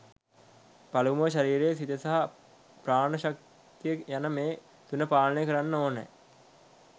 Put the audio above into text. පළමුව ශරීරය සිත සහ ප්‍රාණ ශක්තිය යන මේ තුන පාලනය කරන්න ඕනෑ.